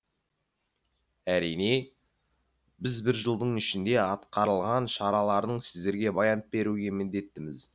әрине біз бір жылдың ішінде атқарылған шаралардың сіздерге баянып беруге міндеттіміз